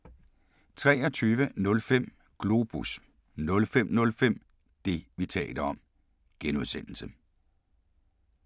23:05: Globus 05:05: Det, vi taler om (G)